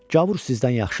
Gavur sizdən yaxşıdır.